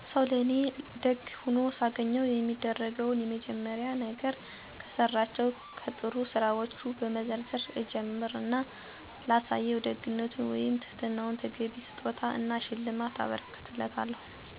ሰው ለእኔ ለደግ ሆኖ ሳገኘው የማደርገው የመጀመሪያ ነገር፤ ከሠራቸው ከጥሩ ስራወቹን በመዘርዘር እጀምር እና ላሳየው ደግነት ወይም ትህትና ተገቢውን ስጦታ እና ሽልማት አበረክትለታለሁ። የሠራው ነገር በስጦታ ወይም በሽልማት ማይካስ ከሆነ ከልብ አመስግኘ እኔ ለሱ የማድረግ እድል እንዲሰጠኝ እመኛለሁ። ብቻ ደግ ሆኖል ያገኘሁትን ሠው እንደማልረሳው እና እሱም እኔን ሲፈልገኝ እንደምገኝ በደንብ እነግረዋለሁ። እና ከእሱ ደግነት እማራለሁ።